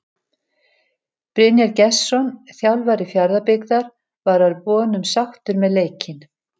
Brynjar Gestsson þjálfari Fjarðabyggðar var að vonum sáttur með leikinn.